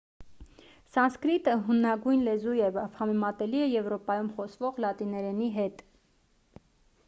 սանսկրիտը հնագույն լեզու է և համեմատելի է եվրոպայում խոսվող լատիներենի հետ